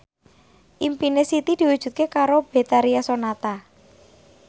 impine Siti diwujudke karo Betharia Sonata